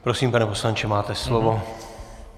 Prosím, pane poslanče, máte slovo.